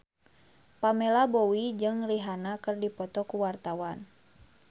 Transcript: Pamela Bowie jeung Rihanna keur dipoto ku wartawan